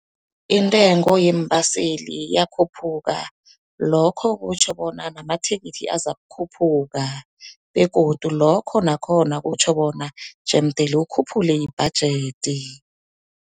Intengo yeembaseli yakhuphuka, lokho kutjho bona namathikithi azakukhuphuka begodu lokho nakhona kutjho bona jemdele ukhuphule ibhajedi.